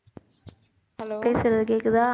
பேசறது கேக்குதா